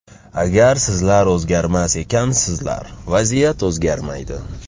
Agar sizlar o‘zgarmas ekansizlar, vaziyat o‘zgarmaydi.